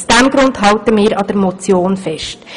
Aus diesem Grund halten wir an der Motion fest.